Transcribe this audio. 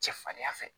Cɛ farinya fɛ